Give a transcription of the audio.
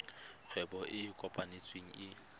kgwebo e e kopetsweng e